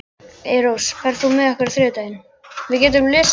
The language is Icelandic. Eyrós, ferð þú með okkur á þriðjudaginn?